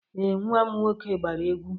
Ee, nwa m nwoke gbara egwu.